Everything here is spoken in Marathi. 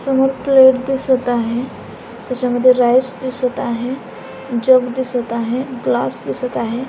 समोर प्लेट दिसत आहे त्याच्यामध्ये राइस दिसत आहे जग दिसत आहे ग्लास दिसत आहे.